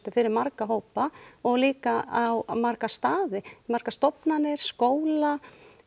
fyrir marga hópa og líka á marga staði margar stofnanir skóla